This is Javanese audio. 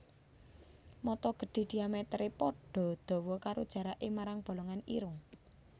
Mata gedhi diamèteré padha dawa karo jaraké marang bolongan irung